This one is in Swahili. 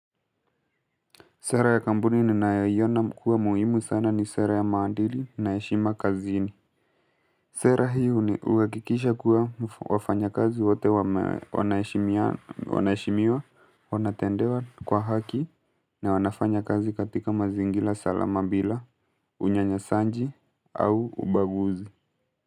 Sera ya kampuni ninayoiona kuwa muhimu sana ni sera ya maadili naheshima kazini. Sera hii ni huwakikisha kuwa wafanya kazi wote wanahesimiana, wanaheshimiwa wanatendewa kwa haki na wanafanya kazi katika mazingira salama bila unyanyasaji au ubaguzi.